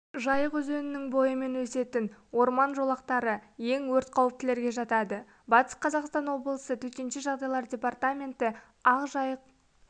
жайық өзенінің бойымен өсетін орман жолақтары ең өрт қауіптілерге жатады батыс қазақстан облысы төтенше жағдайлар департаменті ақжайық